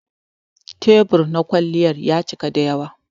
Tebur na kwalliya ya cika dayawa.